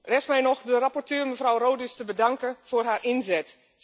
Rest mij nog de rapporteur, mevrouw Rodust, te bedanken voor haar inzet.